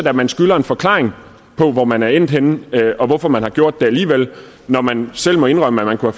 at man skylder en forklaring på hvor man er endt henne og hvorfor man har gjort det alligevel når man selv må indrømme at man kunne